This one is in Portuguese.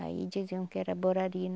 Aí diziam que era borari.